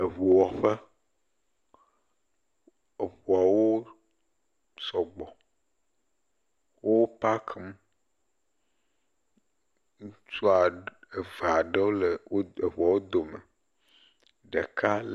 Eŋuwɔƒe, eŋuawo sɔgbɔ, wo pack, ŋutsu eve aɖewo le eŋuwo dome, ɖeka le.